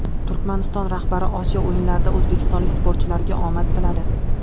Turkmaniston rahbari Osiyo o‘yinlarida o‘zbekistonlik sportchilarga omad tiladi.